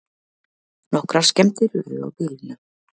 Nokkrar skemmdir urðu á bílunum